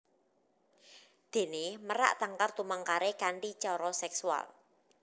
Déné merak tangkar tumangkaré kanthi cara seksual